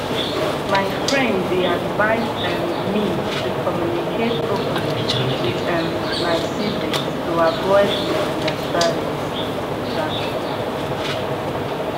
my friend dey advise um me to communicate openly with um my siblings to avoid misunderstandings um